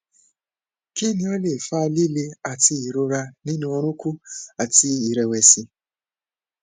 kini o le fa lile ati irora ninu orunkun àti ìrẹwẹsì